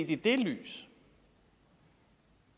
i det lys